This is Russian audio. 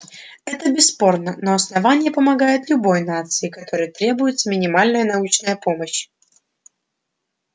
это бесспорно но основание помогает любой нации которой требуется минимальная научная помощь